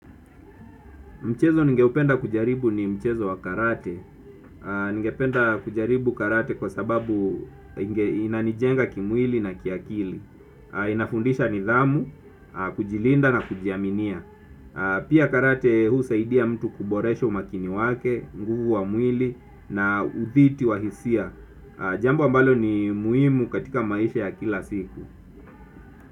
Mchezo ningeupenda kujaribu ni mchezo wa karate. Ningependa kujaribu karate kwa sababu inanijenga kimwili na kiakili. Inafundisha nidhamu, kujilinda na kujiaminia. Pia karate husaidia mtu kuboresha umakini wake, nguvu wa mwili na udhiti wa hisia. Jambo ambalo ni muhimu katika maisha ya kila siku.